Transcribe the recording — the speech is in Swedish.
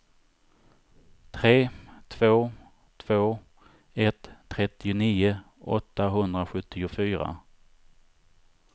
tre två två ett trettionio åttahundrasjuttiofyra